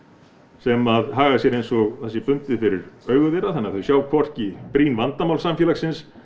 sem hagar sér eins og það sé bundið fyrir augu þeirra þannig að þau sjá hvorki brýn vandamál samfélagsins